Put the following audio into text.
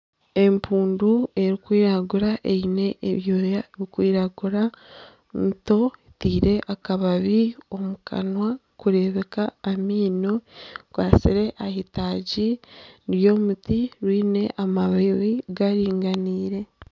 Empundu erikwiragura eine ebyoya birikwiragura ninto etaire akababi okukanwa zirikureebeka amaino zikwatsire ah'eitagi ry'omuti biine amababi garinganaire